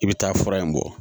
I bɛ taa fura in bɔ